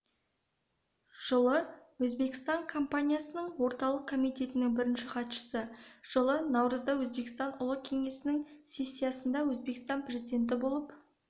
жылы өзбекстан компартиясы орталық комитетінің бірінші хатшысы жылы наурызда өзбекстан ұлы кеңесінің сессиясында өзбекстан президенті болып